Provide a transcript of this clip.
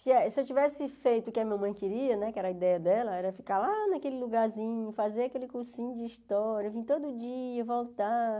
Se eu tivesse feito o que a minha mãe queria né, que era a ideia dela, era ficar lá naquele lugarzinho, fazer aquele cursinho de história, vir todo dia, voltar.